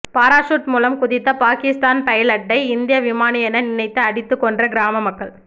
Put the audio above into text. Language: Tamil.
பாராசூட் மூலம் குதித்த பாகிஸ்தான் பைலட்டை இந்திய விமானி என நினைத்து அடித்து கொன்ற கிராம மக்கள்